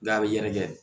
N'a bɛ yɛrɛkɛ